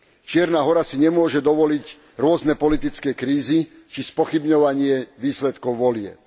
Čierna Hora si nemôže dovoliť rôzne politické krízy či spochybňovanie výsledkov volieb.